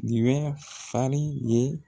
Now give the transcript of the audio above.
Nin bɛ fari ye